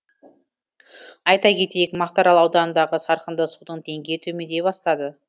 айта кетейік мақтаарал ауданындағы сарқынды судың деңгейі төмендей бастады